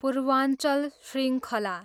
पूर्वाञ्चल शृङ्खला